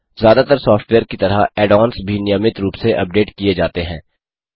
ज्यादातर सॉफ्टवेयर की तरह ऐड ऑन्स भी नियमित रूप से अपडेट किये जाते हैं